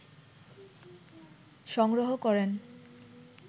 সংগ্রহ করেন